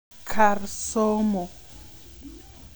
Kar somo.